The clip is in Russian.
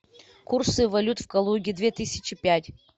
курсы валют в калуге две тысячи пять